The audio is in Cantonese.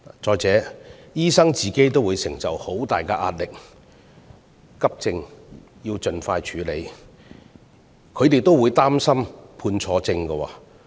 再者，醫生本身亦承受很大壓力，因為急症要盡快處理，他們會擔心判錯症。